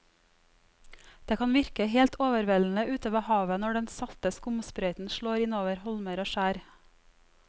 Det kan virke helt overveldende ute ved havet når den salte skumsprøyten slår innover holmer og skjær.